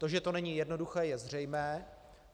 To, že to není jednoduché, je zřejmé.